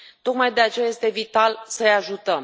Tocmai de aceea, este vital să i ajutăm.